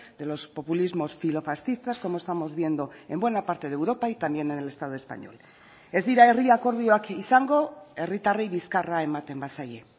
de los populismos filofascistas como estamos viendo en buena parte de europa y también en el estado español ez dira herri akordioak izango herritarrei bizkarra ematen bazaie